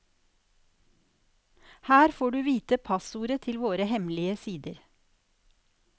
Her får du vite passordet til våre hemmelige sider.